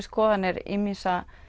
skoðun ýmissa